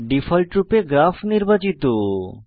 ডিফল্টরূপে গ্রাফ নির্বাচিত রয়েছে